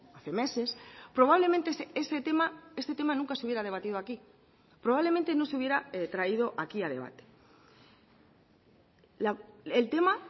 hace meses probablemente ese tema este tema nunca se hubiera debatido aquí probablemente no se hubiera traído aquí a debate el tema